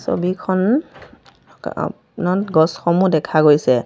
ছবিখন আ নত গছ সমূহ দেখা গৈছে।